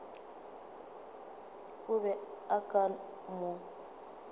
o be o ka mo